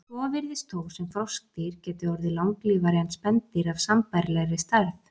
Svo virðist þó sem froskdýr geti orðið langlífari en spendýr af sambærilegri stærð.